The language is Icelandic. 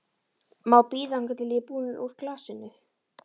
Má það bíða þangað til ég er búin úr glasinu?